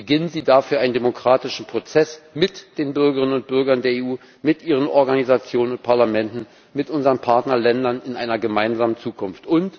Beginnen Sie dafür einen demokratischen Prozess mit den Bürgerinnen und Bürgern der EU, mit ihren Organisationen und Parlamenten, mit unseren Partnerländern in einer gemeinsamen Zukunft.